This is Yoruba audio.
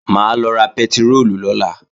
Mà á lọ ra pẹtiróòlù lọ́la